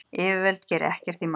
Yfirvöld geri ekkert í málinu.